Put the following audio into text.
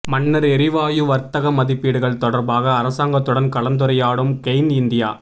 மன்னார் எரிவாயு வர்த்தக மதிப்பீடுகள் தொடர்பாக அரசாங்கத்துடன் கலந்துரையாடும் கெய்ன் இந்தியா